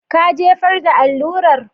Ka jefar da allurar?